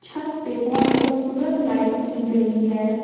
छत पे बहोत खूबसूरत लाइट की गई है।